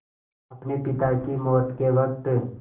अपने पिता की मौत के वक़्त